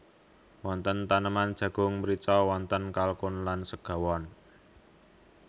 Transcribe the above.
Wonten taneman jagung mrica wonten kalkun lan segawon